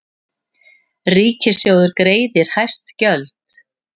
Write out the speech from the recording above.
Ríkissjóður greiðir hæst gjöld